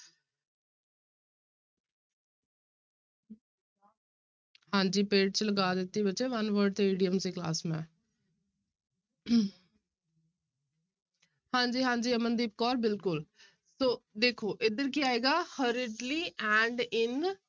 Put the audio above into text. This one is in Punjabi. ਹਾਂਜੀ paid ਚ ਲਗਾ ਦਿੱਤੀ ਬੱਚੇ one word ਤੇ idiom ਦੀ class ਮੈਂ ਹਾਂਜੀ ਹਾਂਜੀ ਅਮਨਦੀਪ ਕੌਰ ਬਿਲਕੁਲ ਸੋ ਦੇਖੋ ਇੱਧਰ ਕੀ ਆਏਗਾ hurriedly and in